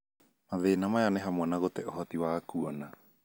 mathĩna maya ni hamwe na gutee uhoti wa kuona.